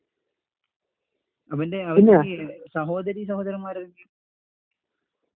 അവൻ്റെ സഹോദരീസഹോദരന്മാർ ആരെങ്കിലും?